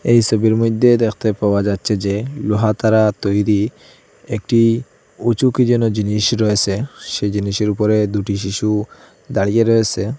এই সবির মইদ্যে দেখতে পাওয়া যাচ্চে যে লোহা দ্বারা তৈরী একটি উঁচু কি যেন জিনিস রয়েসে সে জিনিসের উপরে দুটি শিশু দাঁড়িয়ে রয়েসে।